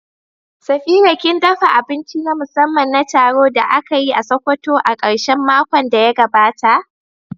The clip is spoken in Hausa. Safira kin dafa abinci na musamman na taron da aka yi a Sokoto a karshen makon da ya gabata?